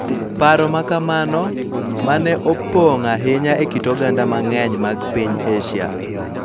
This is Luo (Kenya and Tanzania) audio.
Paro ma kamano, ma ne opong� ahinya e kit oganda mang�eny mag piny Asia,